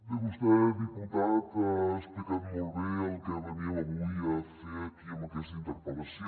bé vostè diputat ha explicat molt bé el que veníem avui a fer aquí amb aquesta interpel·lació